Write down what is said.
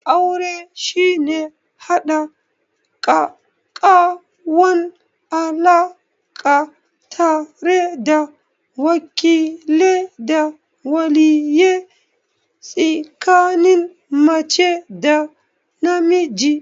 Aure shine haɗa ƙaƙƙawan alaka tare da wakile da waliye tsikanin mace da namiji?